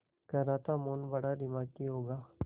कह रहा था मोहन बड़ा दिमागी होगा